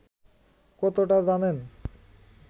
কতটা জানেন